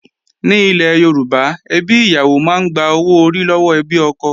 Ní ilẹ̀ Yorùbá, ẹbí ìyàwó máa ń gba owó orí lọ́wọ́ ẹbí ọkọ